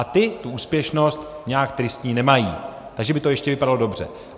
A ti tu úspěšnost nějak tristní nemají, takže by to ještě vypadalo dobře.